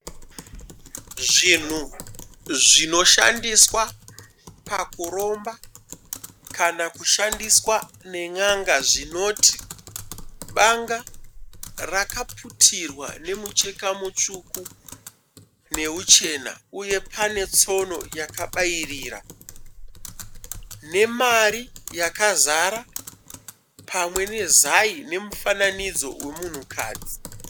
Zvinhu zvinoshandiswa pakuromba kana kushandiswa nen'anga zvinoti banga rakaputirwa nemucheka mutsvuku nemuchena uye pane tsono yakabairira nemari yakazara pamwe nezai nemufananidzo wemunhukadzi.